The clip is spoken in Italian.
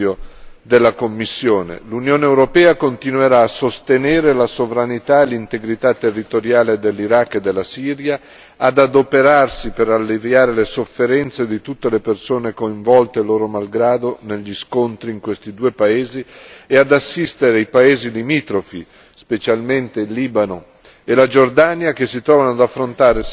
L'Unione europea continuerà a sostenere la sovranità e l'integrità territoriale dell'Iraq e della Siria, ad adoperarsi per alleviare le sofferenze di tutte le persone coinvolte loro malgrado negli scontri in questi due paesi e ad assistere i paesi limitrofi, specialmente il Libano e la Giordania, che si trovano ad affrontare sfide enormi sul piano sociale